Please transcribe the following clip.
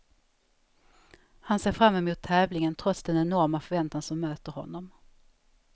Han ser fram emot tävlingen, trots den enorma förväntan som möter honom.